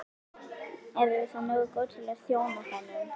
Erum við þá nógu góð til að þjóna honum?